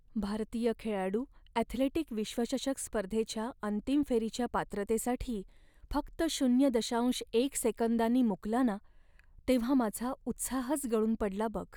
भारतीय खेळाडू ॲथलेटिक विश्वचषक स्पर्धेच्या अंतिम फेरीच्या पात्रतेसाठी फक्त शून्य दशांश एक सेकंदांनी मुकला ना, तेव्हा माझा उत्साहच गळून पडला बघ.